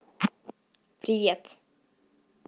привет